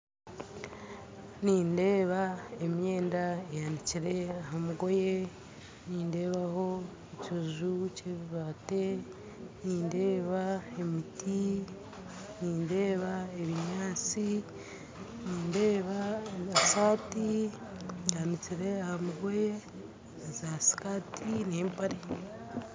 Nindeeba emyenda ehanikire aha mugoye nindeebaho ekiju ky'ebibaati nindeeba emiti nindeeba ebinyaatsi nindeeba amasaati gaanikire aha mugoye za sikaati n'empare